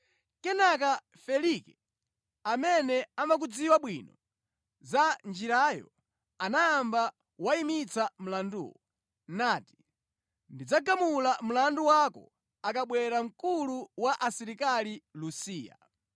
Kenaka Felike, amene amadziwa bwino za Njirayo, anayamba wayimitsa mlanduwo, nati, “Ndidzagamula mlandu wako akabwera mkulu wa asilikali Lusiya.”